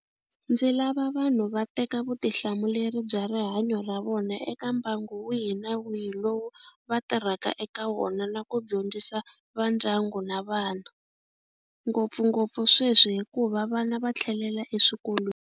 Ndzi lava vanhu va teka vutihlamuleri bya rihanyo ra vona eka mbangu wihi na wihi lowu vatirhaka eka wona na ku dyondzisa vandyangu na vana, ngopfungopfu sweswi hikuva vana va tlhelela eswikolweni.